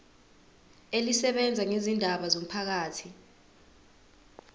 elisebenza ngezindaba zomphakathi